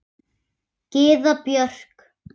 Gyða Björk.